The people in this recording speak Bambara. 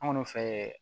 An kɔni fɛ